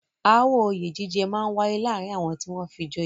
Aáwọ̀ oyè jíjẹ máa ń wáyé láàárín àwọn tí wọ́n fi joyè.